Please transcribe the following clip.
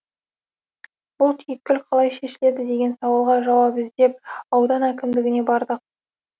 бұл түйткіл қалай шешіледі деген сауалға жауап іздеп аудан әкімдігіне бардық